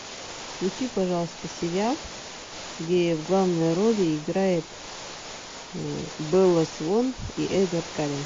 включи пожалуйста сериал где в главной роли играет белла свон и эдвард каллен